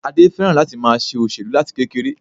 Adé féràn láti ma se òṣèlú láti kekere